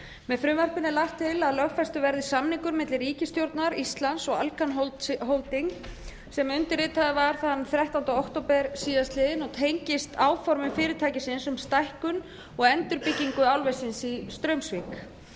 með frumvarpinu er lagt til að lögfestur verði samningur milli ríkisstjórnar íslands og alcan holdings sem undirritaður var þann þrettánda október síðastliðinn og tengist áformum fyrirtækisins um stækkun og endurbyggingu álversins í straumsvík um